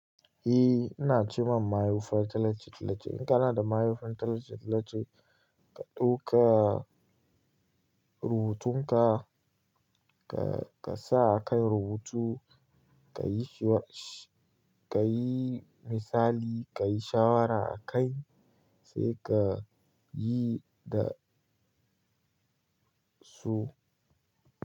Eh ina ci ma mayufan talace talace. In kana da mayufan talace talace ka ɗauka rubutunka ka sa a kai rubutu, ka yi shi ka yi misali, ka yi shawara a kai sai ka yi da su.